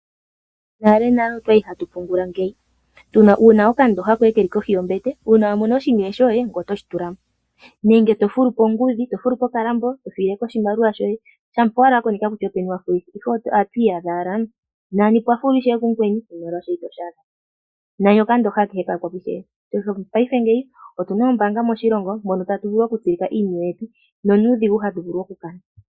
Monalenale otwali hatu pungula ngeyi, wu na okandooha koye keli kohi yombete uuna wa mono oshiniwe shoye ngoye otoshi tula mo, nenge to fulu pongudhi to fulu po okalambo e to file po oshimaliwa shoye ,shampa owala wa koneka kutya openi wa holeka. Ohatu iyadha owala nani pwa fulwa ishewe ku mukweni oshimaliwa shoye itoshi adha po nani okandooha koye oka yakwa po . Mongashingeya otu na oombaanga moshilongo mono tatu vulu okutsilika iiniwe yetu na onuudhigu hatu vulu okukanitha.